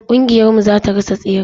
Kingiyar mu zata rasa tseren.